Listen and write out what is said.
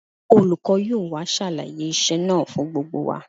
Olùkọ́ yóò wá ṣàlàyé iṣẹ́ náà fún gbogbo wa